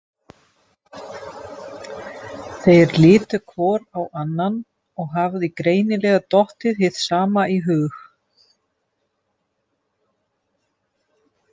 Þeir litu hvor á annan og hafði greinilega dottið hið sama í hug.